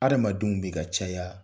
Adamadenw bɛ ka caya